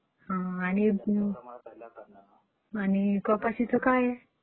हो आणि कपाशीचे काय आहे?